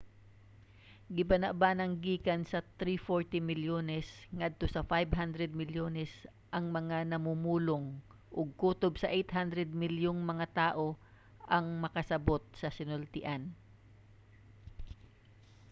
gibanabanang gikan sa 340 milyones ngadto sa 500 milyones ang mga mamumulong ug kutob sa 800 milyong mga tawo ang makasabut sa sinultian